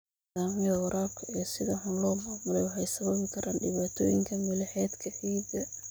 Nidaamyada waraabka ee sida xun loo maamulay waxay sababi karaan dhibaatooyin milixeedka ciidda.